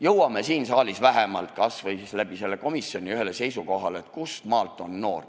Jõuame siin saalis kasvõi selle komisjoni kaudu seisukohale, kustmaalt alates on inimene noor.